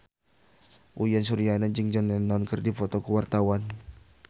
Uyan Suryana jeung John Lennon keur dipoto ku wartawan